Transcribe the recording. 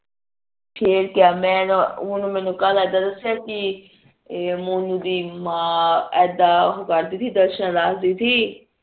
ਫੇਰ ਕਿਆ ਮੈਂ ਓਨੁ ਓਨੇ ਮੈਂਨੂੰ ਕੱਲ ਦਾ ਦਸਿਆ ਕੀ ਏ ਮੋਨੁ ਦੀ ਮਾਂ ਆ ਇਦਾ ਕਰਦੀ ਸੀ ਦਰਸ਼ਨ ਰੱਖਦੀ ਸੀ